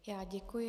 Já děkuji.